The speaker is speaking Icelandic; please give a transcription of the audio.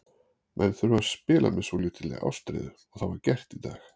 Menn þurfa að spila með svolítilli ástríðu og það var gert í dag.